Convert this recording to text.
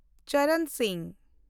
ᱪᱚᱨᱚᱱ ᱥᱤᱝ